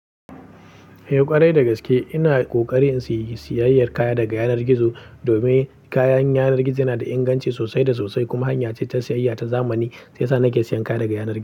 Eh ƙwarai da gaske, ina ƙoƙarin siyi siyayyar kaya daga yanar gizo, domin kayan yanar gizo yana da inganci sosai da sosai. Kuma hanya ce ta siyayya ta zamani, shiya sa nake sayan kaya daga yanar gizo.